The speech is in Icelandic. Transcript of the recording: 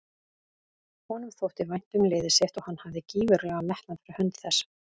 Honum þótti vænt um liðið sitt og hann hafði gífurlegan metnað fyrir hönd þess.